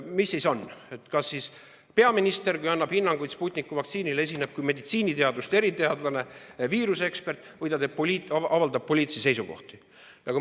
Mis siis on, kui peaminister annab hinnanguid Sputniku vaktsiinile, kas ta esineb kui meditsiiniteaduste eriteadlane, viiruse ekspert või ta avaldab poliitilisi seisukohti?